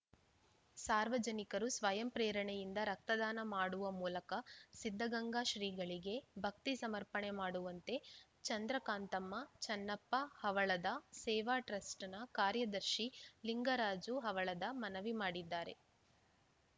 ಸಾರ್ವಜನಿಕರು ಸ್ವಯಂ ಪ್ರೇರಣೆಯಿಂದ ರಕ್ತದಾನ ಮಾಡುವ ಮೂಲಕ ಸಿದ್ದಗಂಗಾ ಶ್ರೀಗಳಿಗೆ ಭಕ್ತಿ ಸಮರ್ಪಣೆ ಮಾಡುವಂತೆ ಚಂದ್ರಕಾಂತಮ್ಮ ಚನ್ನಪ್ಪ ಹವಳದ ಸೇವಾ ಟ್ರಸ್ಟ್‌ ಕಾರ್ಯದರ್ಶಿ ಲಿಂಗರಾಜು ಹವಳದ ಮನವಿ ಮಾಡಿದ್ದಾರೆ